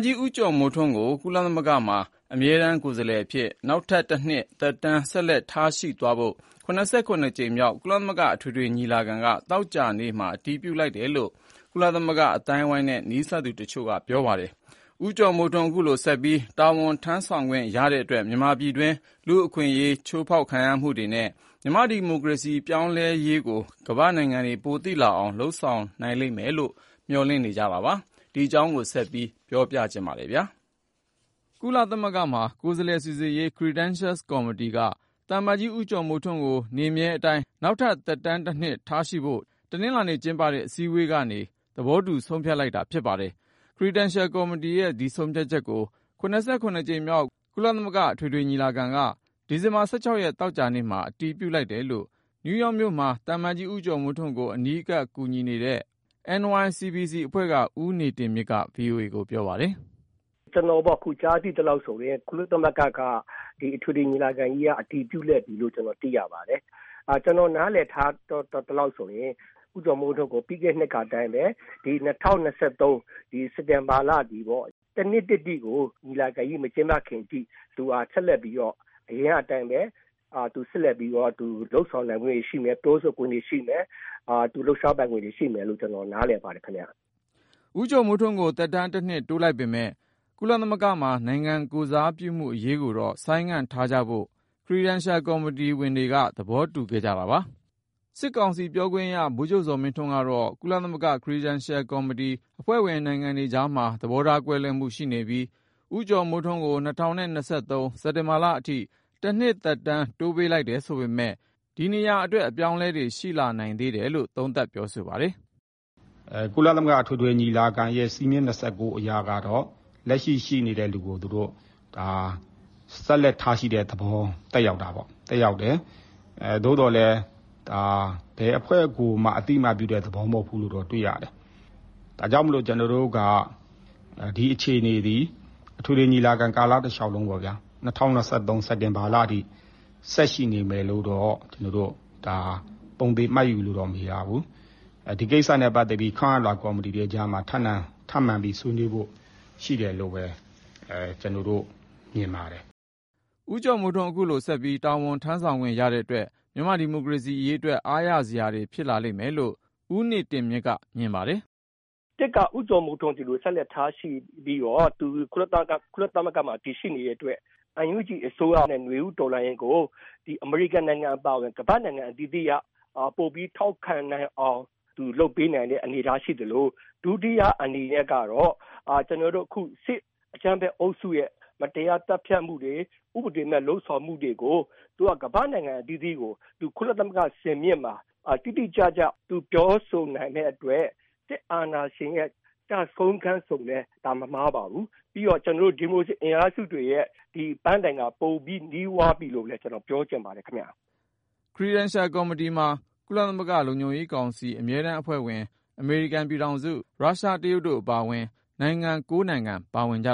ကြီး ဦးကျော်မိုးထွန်း ကို ကုလသမဂ္ဂမှာ အမြဲတမ်း ကိုယ်စားလှယ်အဖြစ် နောက်ထပ် တနှစ်သက်တမ်း ဆက်လက်ထားရှိသွားဖို့ ၇၇ ကြိမ်မြောက် ကုလသမဂ္ဂ အထွေထွေညီလာခံက သောကြာနေ့က အတည်ပြုလိုက်တယ်လို့ ကုလအသိုင်းအဝိုင်းနဲ့ နီးစပ်သူတချို့က ပြောပါတယ်။ ဦးကျော်မိုးထွန်း ခုလိုဆက်ပြီး တာဝန်ထမ်းဆောင်ခွင့် ရတဲ့အတွက် မြန်မာပြည်တွင်း လူ့အခွင့်အရေးချိုးဖေါက်မှုတွေနဲ့ မြန်မာဒီမိုကရေစီ ပြောင်းလဲရေးကို ကမ္ဘာ့နိုင်ငံတွေ ပိုသိ လာအောင် လုပ်ဆောင်နိုင်လိမ့်မယ်လို့ မျှော်လင့်နေကြတာပါ။ ကိုဉာဏ်ဝင်းအောင်က တင်ပြထားပါတယ်။ ကုလသမဂ္ဂမှာ ကိုယ်စားလှယ်စီစစ်ရေး Credentials ကော်မတီက သံအမတ်ကြီး ဦးကျော်မိုးထွန်းကို နေမြဲအတိုင်း နောက်ထပ် သက်တမ်းတနှစ် ထားရှိဖို့ တနလာၤနေ့ကျင်းပတဲ့ အစည်းအဝေးကနေ သဘောတူဆုံးဖြတ် လိုက်တာဖြစ်ပါတယ်။ Credentials ကော်မတီရဲ့ ဒီဆုံးဖြတ်ချက်ကို ၇၇ ကြိမ်မြောက် ကုလသမဂ္ဂအထွေထွေညီလာခံက ဒီဇင်ဘာ ၁၆ ရက် သောကြာနေ့က အတည်ပြုလိုက်တယ်လို့ နယူးယောက်မြို့မှာ သံအမတ်ကြီး ဦးကျော်မိုးထွန်းကို အနီးကပ်အကူအညီ ပေးနေတဲ့ NYCBC ဦးနေတင်မြင့်က VOA ကို ပြောပါတယ်။ ကုလသမဂ္ဂ အထွေထွေ ညီလာခံကနေ အတည်ပြုလိုက်ပြီလို့ သိရပါတယ်။ ကျနော်နားလည်သလောက်ဆိုရင် ဦးကျော်မိုးထွန်း ကို မနှစ်ကအတိုင်းပဲ ဒီ ၂ဝ၂၃ စက်တင်ဘာလအထိ ကုလသမဂ္ဂ အထွေထွေ ညီလာခံ မကျင့်ပမီအထိ သူဟာ ဆက်လက်ပြီးတော့ သူအနေနဲ့ ပြောဆိုခွင့်၊ လုပ်ဆောင်ပိုင်ခွင့်တွေ ရှိမယ်လို့ ကျနော်နားလည်ပါတယ်ခင်ဗျ။ ဦးကျော်မိုးထွန်းကို သက်တမ်း တနှစ်တိုးလိုက်ပေမယ့် ၊ ကုလသမဂ္ဂမှာ နိုင်ငံကိုယ်စားပြုမှု အရေးကိုတော့ ဆိုင်းငံ့ထားကြဖို့ Credentials ကော်မတီဝင်တွေက သဘောတူခဲ့ကြတာပါ။ စစ်ကောင်စီပြောခွင့်ရ ဗိုလ်ချုပ်ဇော်မင်းထွန်းကတော့ ကုလသမဂ္ဂ Credentials ကော်မတီ အဖွဲ့ဝင်နိုင်ငံတွေကြားမှာ သဘောထားကွဲလွဲမှု ရှိနေပြီး၊ ဦးကျော်မိုးထွန်းကို ၂၀၂၃ စက်တင်ဘာလအထိ တနှစ် သက်တမ်း တိုးပေးလိုက်တယ် ဆိုပေမဲ့ ဒီနေရာအတွက် အပြောင်းအလဲတွေ ရှိလာနိုင်သေးတယ်လို့ သုံးသပ်ပြောဆိုပါတယ်။ ကုလသမဂ္ဂ အထွေထွေညီလာခံရဲ့ စည်းမျဉ်း ၂၉ အရကတော့ လက်ရှိရှိနေတဲ့သူကို ဆက်လက်ထားရှိတဲ့သဘော သက်ရောက်တယ်။ သို့သော်လည်း ဘယ်အဖွဲ့ကိုမှ အသိအမှတ်ပြုတဲ့သဘောမဟုတ်ဘူးလို့တော့ သိရပါတယ်။ ဒါကြောင့်မိုလို ဒီအခြေအနေသည် အထွေထွေညီလာခံ ကာလတလျှောက်လုံးပေါ့ ၂ဝ၂၃ စက်တင်ဘာလအထိ ဆက်ရှိနေမယ်လို့တော့ ပုံသေမှတ်ယူလို့တော့မရဘူး။ ဒီကိစ္စနဲ့ ပတ်သက်ပြီး ခန့်အပ်လွှာ ကော်မီတီတွေကြားမှာ ထပ်မံဆွေးနွေးလိမ့်မယ်လို့တော့ မြင်ပါတယ်။ ဦးကျော်မိုးထွန်း ခုလိုဆက်ပြီး တာဝန်ထမ်းဆောင်ခွင့်ရတဲ့အတွက် မြန်မာ့ဒီမိုကရေစီရေးအတွက် အားရစရာဖြစ်လာမယ်လို့ ဦးနေတင်မြင့်က သုံးသပ်ပါတယ်။ ၁ က ဦးကျော်မိုးထွန်း ကို ဆက်လက်ထားရှိတဲ့အတွက် ကုလသမဂ္ဂမှာ တည်ရှိနေတဲ့အတွက် NUG အစိုးရ နဲ့ နွေဦးတော်လှန်ရေးကို အမေရိကန်အပါအဝင် ဒီကမ္ဘာ့နိုင်ငံအသီးသီး က ပိုပြီးတော့ ထောက်ခံနိုင်တဲ့ အနေအထားရှိအောင် လုပ်ပေးနိုင်ပါတယ်။ ဒုတိယအနေနဲ့ကတော့ စစ်အကြမ်းဖက် အုပ်စုရဲ့ မတရား ဥပဒေမဲ့ လုပ်ဆောင်မှုတွေကို သူက ကမ္ဘာ့နိုင်ငံအသီးသီးကို ကုလသမဂ္ဂ စင်မြင့်မှာ ပြောဆိုနိုင်တဲ့အတွက် စစ်အာဏာရှင်ကျဆုံးခန်းလို့ ပြောရင်မမှားပါဘူး။ ပြီးတော့ ဒီမိုကရေစီ အင်အားစုတွေရဲ့ ဒီပန်းတိုင်က ပိုနီးသွားပြီလို့ ပြောချင်ပါတယ်။ Credentials ကော်မတီမှာ ကုလသမဂ္ဂ လုံခြုံရေး ကောင်စီ အမြဲတမ်း အဖွဲ့ဝင် အမေရိကန် ပြည်ထောင်စု၊ ရုရှား ၊ တရုတ် တို့အပါအဝင် နိုင်ငံ ၉ နိုင်ငံပါဝင်ကြ